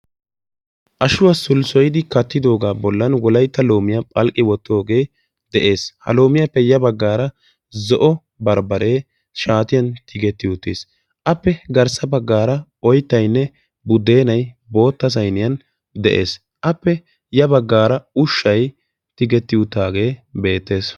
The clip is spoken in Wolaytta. Ashuwa sulssoyiddi kattogga bollan loome de'ees. Appe garsa bagan buddennay oyttya unccay issippe de'ees.